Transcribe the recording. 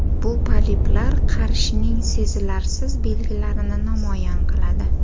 Bu poliplar qarishning sezilarsiz belgilarini namoyon qiladi.